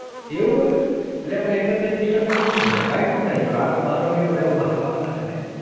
એવું હોય અલ્યા પણ એકત્રીસ december માં શું થાય કાઈ નો થાય એ તો રાત્રે બાર વાગે બધા ઉભા થવાના છે ને